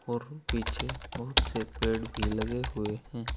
और पीछे बहुत से पेड़ भी लगे हुए हैं।